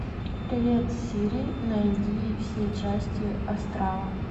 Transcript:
привет сири найди все части астрала